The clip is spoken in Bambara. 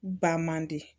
Ba man di